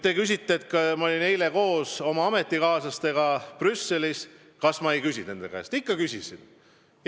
Te ütlesite, et ma olin eile koos oma ametikaaslastega Brüsselis ja miks ma ei küsinud nende käest nende plaane.